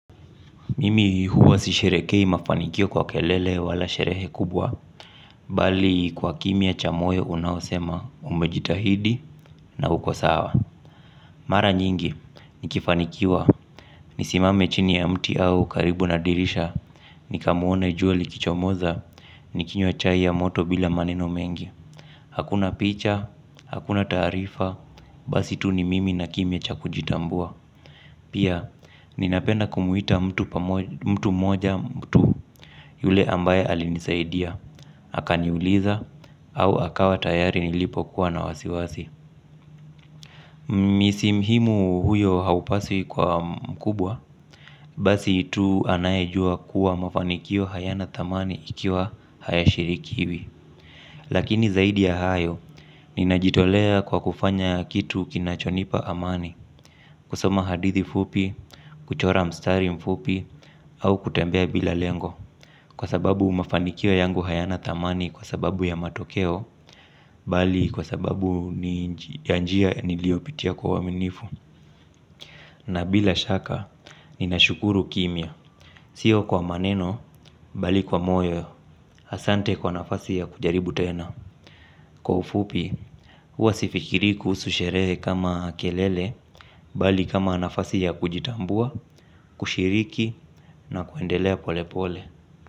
Mimi huwa sisherekei mafanikio kwa kelele wala sherehe kubwa. Bali kwa kimya cha moyo unao sema umejitahidi na huko sawa. Mara nyingi, nikifanikiwa nisimame chini ya mti au karibu na dirisha. Nikamuone jua likichomoza, nikinywa chai ya moto bila maneno mengi. Hakuna picha, hakuna taarifa, basi tu ni mimi na kimya cha kujitambua. Pia, nina penda kumuita mtu moja mtu. Yule ambaye alinisaidia, akaniuliza au akawa tayari nilipo kuwa na wasiwasi Misi mhimu huyo haupaswi kwa mkubwa. Basi tu anayejua kuwa mafanikio hayanathamani ikiwa hayashirikiwi. Lakini zaidi ya hayo, ninajitolea kwa kufanya kitu kinachonipa amani. Kusoma hadithi fupi, kuchora mstari mfupi, au kutembea bila lengo. Kwa sababu mafanikio yangu hayanathamani kwa sababu ya matokeo. Bali kwa sababu ya njia niliopitia kwa uaminifu. Na bila shaka, ninashukuru kimiya. Sio kwa maneno, bali kwa moyo. Asante kwa nafasi ya kujaribu tena. Kwa ufupi, huwa sifikiri kuhusu sherehe kama kelele. Bali kama nafasi ya kujitambua, kushiriki na kuendelea pole pole.